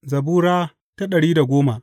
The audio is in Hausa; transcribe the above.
Zabura Sura dari da goma